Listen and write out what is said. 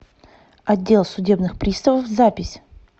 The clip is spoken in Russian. отдел судебных приставов запись